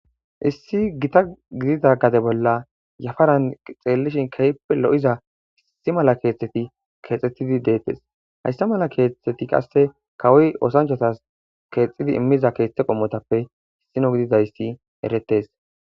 issi gita gidida gade bolla yafaran xeellishin keyppe lo7iza hissi mala keeththeti keexxettidi deettes hayssa mala keettheti qasse kawoy osanchotas keexxidi immiza keeththe qommotappe issino gididayssi eretes.